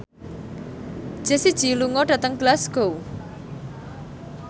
Jessie J lunga dhateng Glasgow